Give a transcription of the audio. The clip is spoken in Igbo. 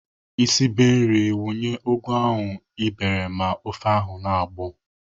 Ị sibe nri, wunye ugu ahụ ị bere ma ofe ahụ na-agbọ!